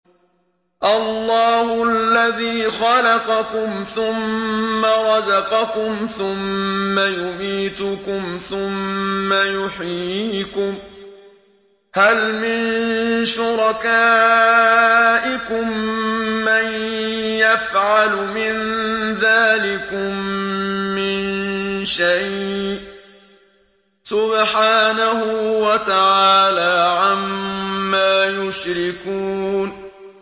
اللَّهُ الَّذِي خَلَقَكُمْ ثُمَّ رَزَقَكُمْ ثُمَّ يُمِيتُكُمْ ثُمَّ يُحْيِيكُمْ ۖ هَلْ مِن شُرَكَائِكُم مَّن يَفْعَلُ مِن ذَٰلِكُم مِّن شَيْءٍ ۚ سُبْحَانَهُ وَتَعَالَىٰ عَمَّا يُشْرِكُونَ